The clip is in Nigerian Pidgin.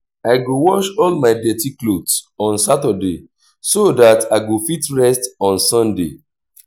i go wash all my dirty clothes on saturday so dat i go fit rest on sunday